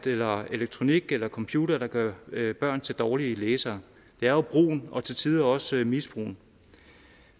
eller elektronik eller computere der gør børn til dårlige læsere det er jo brugen og til tider også misbrugen